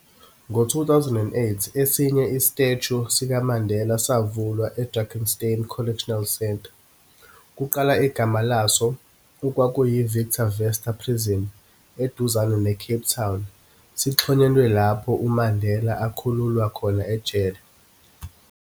Ngo 2008, esinye istatue sikaMandela savulwa e-Drakenstein Correctional Centre, kuqala igama laso okwakuyi-Victor Verster Prison, eduzane ne-Cape Town, sixhonyelwe lapho uMandela akhululwa khona ejele.